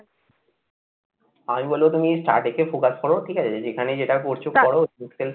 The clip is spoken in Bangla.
আমি বলবো তুমি Starting focus করো ঠিক আছে?